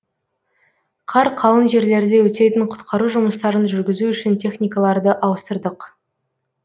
қар қалың жерлерде өтетін құтқару жұмыстарын жүргізу үшін техникаларды ауыстырдық